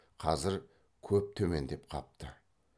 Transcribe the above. қазір көп төмендеп қапты